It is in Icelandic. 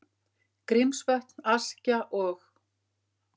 Grímsvötn, Askja og